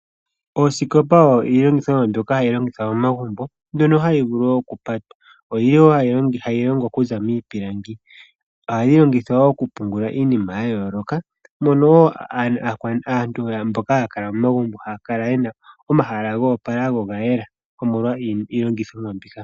Oosikopa oyo iilongitho mbyoka hayi longithwa momagumbo mbyono hayi vulu wo okupatwa. Oyili wo hayi longwa okuza miipilangi. Ohayi longithwa okupungula iinima ya yooloka mono wo aantu mboka haa kala momagumbo haa kala yena omahala go opala go oga yela omolwa iilongithomwa mbika.